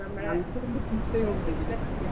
നല്ലതുമുണ്ട് ചീത്തയും ഉണ്ട് ഇതിൽ പക്ഷേ